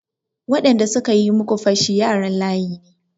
Waɗanda suka yi muku fashi yaran layi ne.